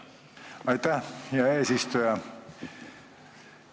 Aitäh, hea eesistuja!